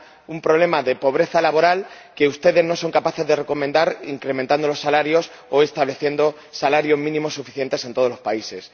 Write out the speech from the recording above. un problema de pobreza laboral que ustedes no son capaces de recomendar que se solucione incrementando los salarios o estableciendo salarios mínimos suficientes en todos los países.